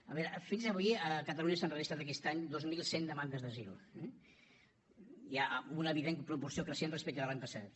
a veure fins avui a catalunya s’han enregistrat aquest any dos mil cent demandes d’asil eh hi ha una evident proporció creixent respecte de l’any passat